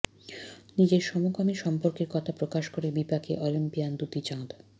নিজের সমকামী সম্পর্কের কথা প্রকাশ করে বিপাকে অলিম্পিয়ান দ্যুতি চাঁদ